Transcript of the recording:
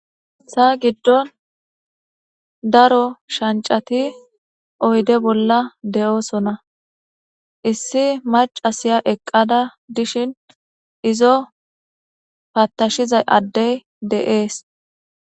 Sa giddon daro shancati oyde bolla de'oosona issi macasiya eqqada dishin izo paattashizay addey deees.